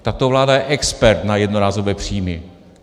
Tato vláda je expert na jednorázové příjmy.